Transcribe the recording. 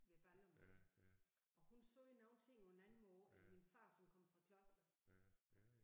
Ved Ballum og hun sagde nogle ting på en anden måde end min far som kom fra Kloster